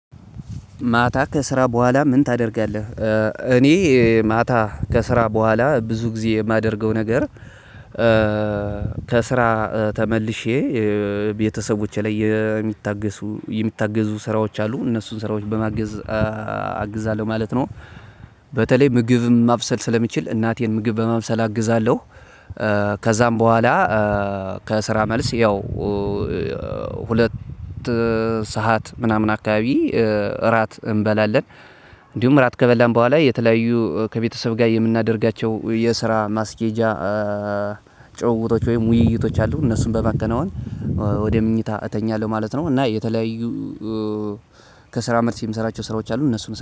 ማታ ከስራ በኋላ ምን ታደርጋለህ? እኔ ማታ ከስራ በኋላ ብዙ ጊዜ የማደርገው ነገር። ከስራ ተመልሼ ቤተሰቦቼ ላይ የሚታገሱ የሚታገዙ ስራዎች አሉ እነሱን ስራዎች በማገዝ አግዛለሁ ማለት ነው። በተለይ ምግብም ማብሰል ስለምችል እናቴን ምግብ በማብሰል አግዛለሁ። ከዛም በኋላ። ከስራ መልስ ያው ሁለት ሰዓት ምናምን አከባቢ እራት እንበላለን። እንዲሁም እራት ከበላን በኋላ የተለያዩ ከቤተሰብ ጋር የምናደርጋቸው የስራ ማስኬጃ ጭውውቶች ወይም ውይይቶች አሉ። እነሱን በማከናወን ወደ መኞታ እተኛለሁ ማለት ነው። እና የተለያዩ ከስራ መልስ የምሰራቸው ስራዎች አሉ እነሱን